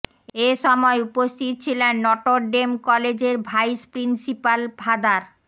এ সময় উপস্থিত ছিলেন নটরডেম কলেজের ভাইস প্রিন্সিপাল ফাদার